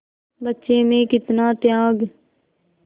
बच्चे में कितना त्याग